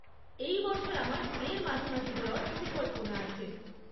এই বছর আমার মে'র মাঝামাঝি যাওয়ার পরিকল্পনা আছে।